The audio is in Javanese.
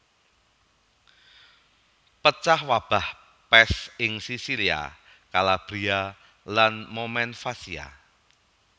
Pecah wabah pès ing Sisilia Kalabria lan Momenvasia